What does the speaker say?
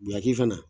Bulaki fana